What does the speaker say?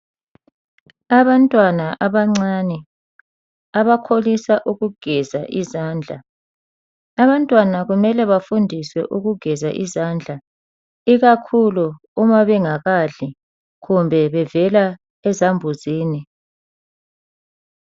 Abantwana abancane abakholisa ukugeza izandla. Abantwana kumele bafundiswe ukugeza izandla ikakhulu uma bengakadli kumbe bevela ezambuzini.